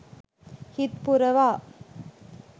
හිත් පුරවා